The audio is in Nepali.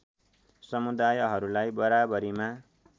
समुदायहरूलाई बराबरीमा